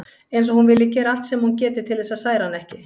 Eins og hún vilji gera allt sem hún geti til þess að særa hann ekki.